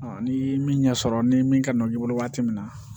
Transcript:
ni min ɲɛ sɔrɔ ni min kan ka i bolo waati min na